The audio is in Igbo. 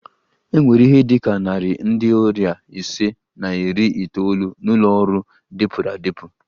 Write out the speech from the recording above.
E nwere ihe dị ka narị ndị ọrịa ise na iri itoolu n'ụlọ ọrụ dịpụrụ adịpụ